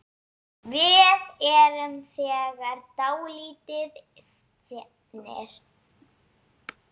Við erum þegar dálítið seinir.